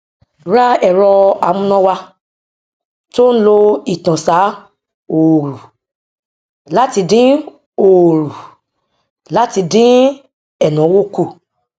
ra ẹrọ amúnáwá tó ń lo ìtànsá òòrù láti dín òòrù láti dín ẹnáwó kù